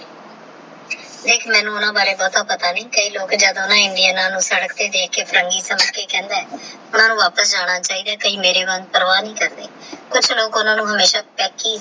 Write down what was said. ਦੇਖ ਮੈਨੂ ਨਾ ਓਹਨਾ ਬਾਰੇ ਭੋਟਾ ਪਾਤ ਆ ਨਹੀ ਆਹ ਕਾਯੀ ਲੋਕ ਜੜਾ ਨਾ ਇੰਦਾ ਨਾਲ ਸਾਦਕ ਤੇਹ ਦਰਖ ਕ ਫਿਰੰਗੀ ਸਮਝ ਕੇ ਕਹੰਦੇ ਨੇ ਵਾਪਸ ਜਾਂਦਾ ਚਿੜਾ ਆਹ ਕਾਯੀ ਮੇਰੀ ਵਾਂਗੂ ਪਰਵਾਹ ਨਹੀ ਕਰਦੇ ਕੁਛ ਲੋਹ ਇਹਨਾ ਨੂ ਸੰਝਾ ਗੇ